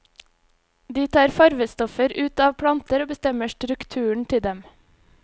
De tar fargestoffer ut av planter og bestemmer strukturen til dem.